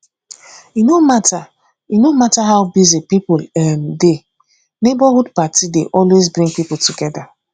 e no matter no matter how busy people um dey neighborhood party dey always bring people together